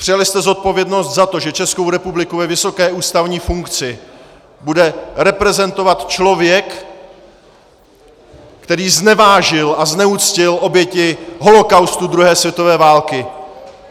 Přijali jste zodpovědnost za to, že Českou republiku ve vysoké ústavní funkci bude reprezentovat člověk, který znevážil a zneuctil oběti holocaustu druhé světové války!